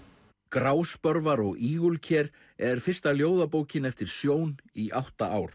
gráspörvar og ígulker er fyrsta ljóðabókin eftir Sjón í átta ár